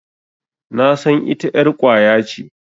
Nasan ita ƴar ƙwaya ce.